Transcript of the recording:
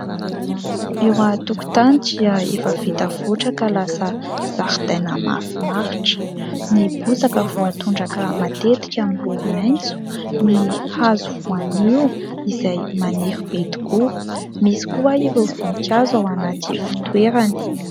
Eo an-tokotany dia efa vita voatra ka lasa zaridaina mahafinaritra, ny bozaka voatondraka matetika miloko maitso, ny hazo voanio izay maniry be tokoa. Misy koa ireo voninkazo ao anaty fitoerany.